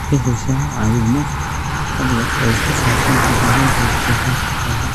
Ma ka heshaa caawimo xirfad leh oo ku saabsan horumarinta wax soo saarka xoolaha?